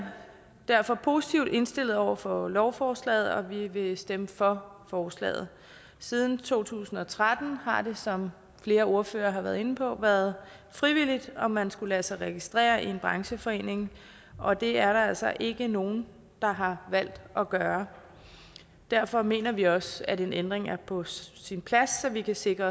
derfor positivt indstillet over for lovforslaget og vi vil stemme for forslaget siden to tusind og tretten har det som flere ordførere har været inde på været frivilligt om man skulle lade sig registrere i en brancheforening og det er der altså ikke nogen der har valgt at gøre derfor mener vi også at en ændring er på sin plads så vi kan sikre